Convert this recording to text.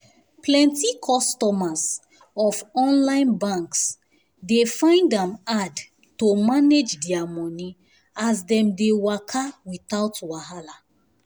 plenty customers of um online banks dey um find am hard to manage their money as dem dey waka without wahala